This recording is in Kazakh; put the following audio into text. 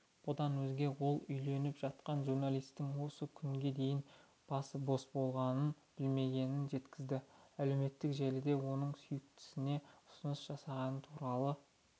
бұдан өзге ол үйленіп жатқан журналистің осы күнге дейін басы бос болғанын білмегенін жеткізді әлеуметтік желіден оның сүйіктісіне ұсыныс жасағаны туралы